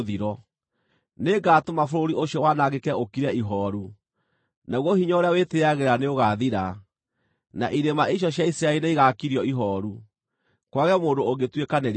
Nĩngatũma bũrũri ũcio wanangĩke ũkire ihooru, naguo hinya ũrĩa wĩtĩĩagĩra nĩũgaathira, na irĩma icio cia Isiraeli nĩigakirio ihooru, kwage mũndũ ũngĩtuĩkanĩria kuo.